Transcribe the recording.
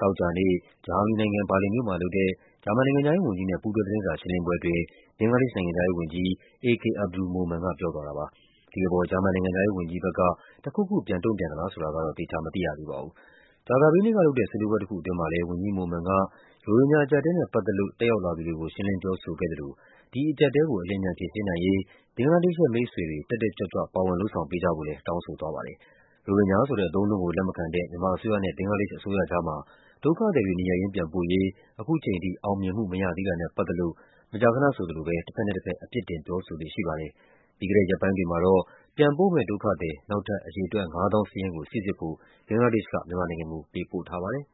သောကြာနေ့ ဂျာမနီနိုင်ငံ၊ ဘာလင်မြို့မှာလုပ်တဲ့ ဂျာမန်နိုင်ငံခြားရေးဝန်ကြီးနဲ့ ပူးတွဲ သတင်းစာရှင်းလင်းပွဲအတွင်း ဘင်္ဂလားဒေ့ရှ်နိုင်ငံခြားရေးဝန်ကြီး A K Abdul Momen က ပြောသွားပါတယ်။ ဒီအပေါ် ဂျာမန်နိုင်ငံခြားရေးဝန်ကြီးဘက်က တခုခုပြန်ပြောသလားဆိုတာတော့ သေချာမသိရသေးပါဘူး။ ကြာသပတေးနေ့ကလုပ်တဲ့ ဆွေးနွေးပွဲတခုအတွင်းမှာလည်း ဝန်ကြီး Momen က ရိုဟင်ဂျာအကျပ်အတည်းနဲ့ ပတ်သက်လို့ တက်ရောက်လာသူတွေကို ရှင်းလင်းပြောဆိုခဲ့သလို ဒီအကျပ်အတည်းကို အလျင်အမြန် ဖြေရှင်းနိုင်ရေး ဘင်္ဂလားဒေ့ရှ်ရဲ့ မိတ်ဆွေတွေ တက်တက်ကြွကြွ ပါဝင်လုပ်ဆောင်ပေးကြဖို့လည်း တောင်းဆိုသွားပါတယ်။ ရိုဟင်ဂျာဆိုတဲ့ အသုံးအနှုန်းကို လက်မခံတဲ့ မြန်မာအစိုးရနဲ့ ဘင်္ဂလားဒေ့ရှ်အစိုးရကြားမှာ ဒုက္ခသည်တွေ နေရပ်ရင်းပြန်ပို့ရေး ခုချိန်ထိ အောင်မြင်မှုမရသေးတာနဲ့ပတ်သက်လို့ မကြာခဏဆိုသလို တဘက်နဲ့တဘက် အပြစ်တင် ပြောဆိုလေ့ရှိပါတယ်။ ပြီးခဲ့တဲ့ရက်ပိုင်းတွေမှာတော့ ပြန်ပို့မယ့်ဒုက္ခသည် နောက်ထပ် အရေအတွက် ၅၀,၀၀၀ စာရင်းကို စိစစ်ဖို့ ဘင်္ဂလားဒေ့ရှ်က မြန်မာ နိုင်ငံကို ပေးပို့ထားပါတယ်။